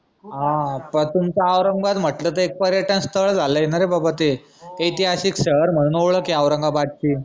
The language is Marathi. तस तुमचं औरंगाबाद म्हंटल त एक पर्यटन स्थळ झालय न रे बाबा ते ऐतिहासिक शहर म्हनून ओळख ए औरंगाबादची